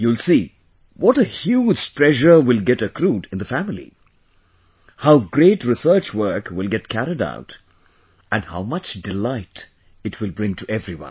You will see, what a huge treasure will get accrued in the family, how great research work will get carried out and how much delight it will bring to everyone